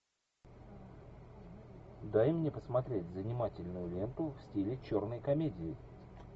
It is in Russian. дай мне посмотреть занимательную ленту в стиле черной комедии